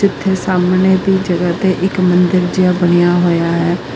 ਇਥੇ ਸਾਹਮਣੇ ਦੀ ਜਗ੍ਹਾ ਤੇ ਇੱਕ ਮੰਦਿਰ ਜਿਹਾ ਬਣਿਆ ਹੋਇਆ ਹੈ।